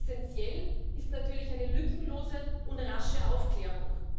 Essenziell ist natürlich eine lückenlose und rasche Aufklärung.